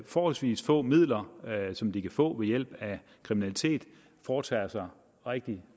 forholdsvis få midler som de kan få ved hjælp af kriminalitet foretager sig rigtig